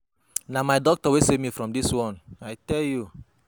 Na my doctor wey save me from dis one, I tell you.